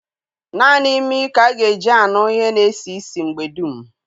Nanị imi ka-aga eji anụ ihe na esi isi mgbe dum.